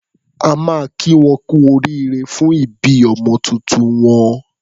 A máa kí wọn kú oríire fún ìbí ọmọ tuntun wọn.